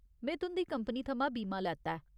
में तुं'दी कंपनी थमां बीमा लैता ऐ।